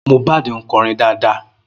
Mohbad ń kọrin dáadáa